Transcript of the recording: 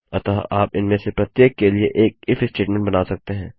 अतः आप इनमें से प्रत्येक के लिए एक इफ स्टेटमेंट बना सकते हैं